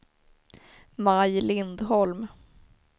Maj Lindholm